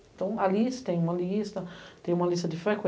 Então, ali você tem uma lista, tem uma lista de